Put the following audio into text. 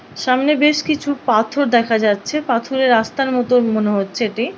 সামনে বেশ কিছু পাথর দেখা যাচ্ছে পাথরে রাস্তার মতো মনে হচ্ছে এটি ।